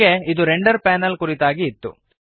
ಹೀಗೆ ಇದು render panel ನ ಕುರಿತಾಗಿ ಇತ್ತು